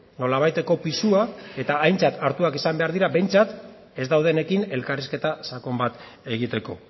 nolabaiteko pisua eta aintzat hartuak izan behar dira behintzat ez daudenekin elkarrizketa sakon bat egiteko